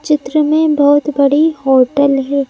चित्र में बहुत बड़ी हॉटेल है।